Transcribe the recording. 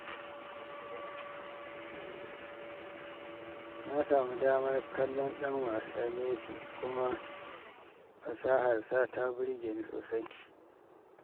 Na samu damar kallon dan wasa Messi, kuma fasaharsa ta burge ni sosai.